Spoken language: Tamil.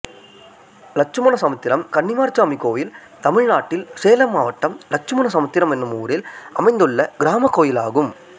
இலட்சுமண சமுத்திரம் கன்னிமார்சாமி கோயில் தமிழ்நாட்டில் சேலம் மாவட்டம் இலட்சுமண சமுத்திரம் என்னும் ஊரில் அமைந்துள்ள கிராமக் கோயிலாகும்